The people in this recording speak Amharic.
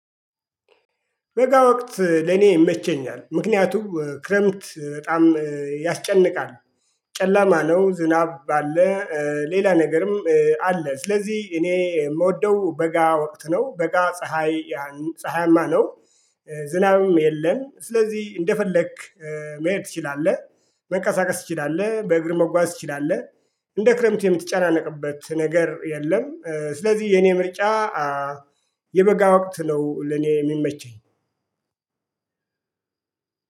በጋ ወቅት ለኔ ይመቸኛል ምክንያቱም ክረምት በጣም ያስጨንቃል ጨለማ ነው ዝናብ አለ። ሌላ ነገርም አለ ስለዚህ እኔ የምወደው በጋ ወቅት ነው። በጋ ፀሀይ ፀሀያማ ነው። ዝናብም የለም ስለዚህ እንደፈለክ መሄድ ትችላለህ። መቀሳቀስ ትችላለህ በእግር መጓዝ ትችላለህ። እንደ ክረምቱ የምትጨናነቅበት ነገር የለም ስለዚህ የኔ ምርጫ የበጋ ወቅት ነው። ለኔ የሚመቸኝ